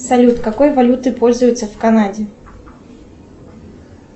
салют какой валютой пользуются в канаде